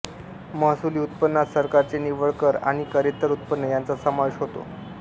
महसुली उत्पन्नात सरकारचे निव्वळ कर आणि करेत्तर उत्पन्न याचा समावेश होतो